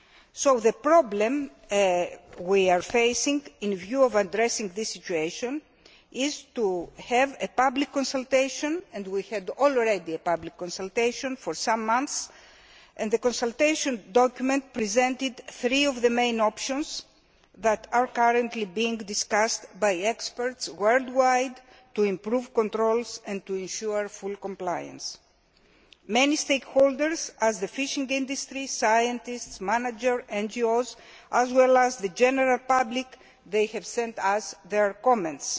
So the problem we are facing with a view to addressing this situation is the need for a public consultation, and we have now already had a public consultation for some months. The consultation document presented three of the main options that are currently being discussed by experts worldwide to improve controls and to ensure full compliance. Many stakeholders, such as the fishing industry, scientists, managers and NGOs, as well as the general public, have sent us their comments.